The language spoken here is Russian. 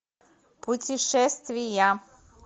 путешествия